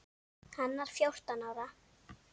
Hann var fjórtán ára.